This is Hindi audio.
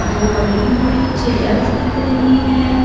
दो बड़ी-बड़ी चेयर्स दिख रही है।